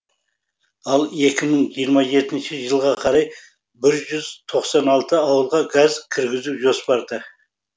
ал екі мың жиырма жетінші жылға қарай бір жүз тоқсан алты ауылға газ кіргізу жоспарда